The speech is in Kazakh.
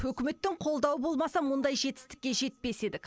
үкіметтің қолдауы болмаса мұндай жетістікке жетпес едік